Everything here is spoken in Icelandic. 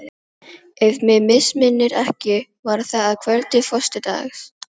Við vorum stundum fá á ritstjórninni vegna fátæktar blaðsins.